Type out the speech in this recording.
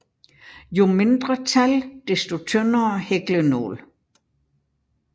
Jo mindre tal desto tyndere hæklenål